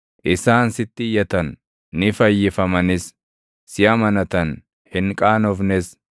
Isaan sitti iyyatan; ni fayyifamanis; si amanatan; hin qaanofnes.